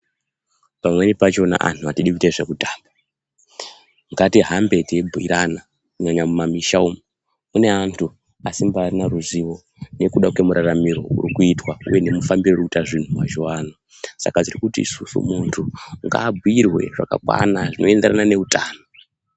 Pamweni pachona anhu atidi kuita zvekutamba ngatihambe teibhiirana kunyanya mumamisha umu mune anthu asimbaarina ruzivo nekuda kwemuraramiro urikuitwa uye nemufambiro urikuita zvinhu mazuwaano saka tiri kuti isusu munthu ngaabhiirwe zvakakwana zvinoenderana neutano.